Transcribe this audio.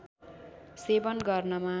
सेवन गर्नमा